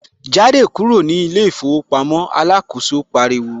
Jáde kúrò ní ilé ìfowópamọ́ ' alákòóso pariwo